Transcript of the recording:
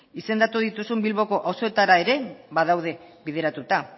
izendatu dituzun bilboko auzoetara ere badaude bideratuta